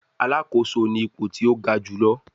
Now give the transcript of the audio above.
Alakoso ni ipo ti o ga julọ